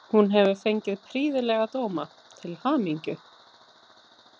Hún hefur fengið prýðilega dóma, til hamingju.